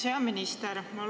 Hea minister!